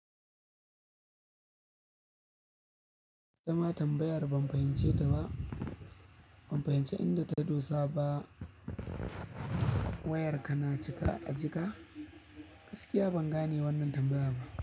Dan ma tambayar ban fahimce ta ba, ban fahimce inda ta dosa ba. Wayar ka na cika a jika? Gaskiya ba gane wanan tambaya bah.